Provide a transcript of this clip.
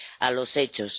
a los hechos.